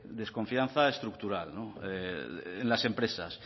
de desconfianza estructural en las empresas